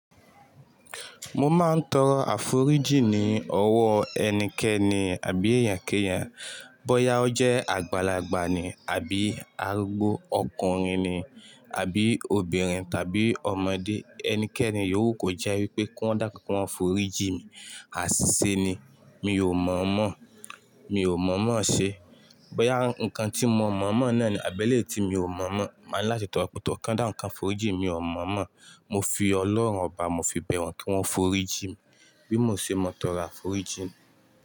Mo máa ń tọrọ àforíjì ní ọwọ́ ẹnikẹ́ni àbí èèyànkẹ́yàn. Bọ́ya ọjẹ́ àgbàlagbà ni àbí arúgbó ọkùnrin ni àbí obìnrin tàbí ọmọdé. Ẹnikẹ́ni yó wù kò jẹ́ wípé kiwọn dákú kiwọn fòrí jí mi, àṣìṣe ni. Mi ò mọ̀ mọ́, mi ò mọ̀ mọ́ ṣe. Bọ́ya nǹkan tí mo mọ̀ mọ́ náà ni, àbẹ́lẹ́ tí mi ò mọ̀ mọ́. Máa ń láti tọrọ pé tó kan dá nǹkan fòrí jí mi ò mọ̀ mọ́. Mo fi ọlọ́run ọba, mo fi bẹ̀ wọn kí wọ́n fòrí jí mi bí mo ṣe mọ tọrọ àforíjì.